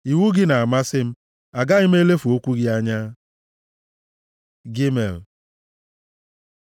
Iwu gị na-amasị m; agaghị m elefu okwu gị anya. ג Gimel